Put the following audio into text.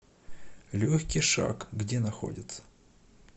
легкий шаг где находится